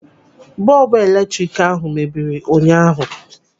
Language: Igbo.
Bọọbụ eletrik ahụ mebiri ụnyaahụ.